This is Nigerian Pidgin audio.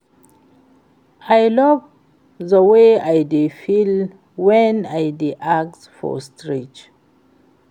I love the way I dey feel wen I dey act for stage